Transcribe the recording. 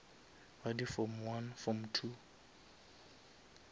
ba di form one form two